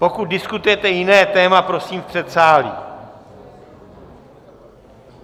Pokud diskutujete jiné téma, prosím v předsálí!